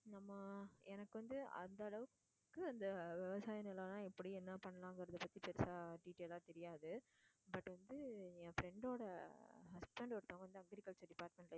நம்ம எனக்கு வந்து அந்த அளவுக்கு அந்த விவசாயம் நிலமெல்லாம் எப்படி என்ன பண்ணலாங்குறதை பத்தி பெருசா detail ஆ தெரியாது but வந்து என் friend ஓட husband ஒருத்தவங்க agriculture department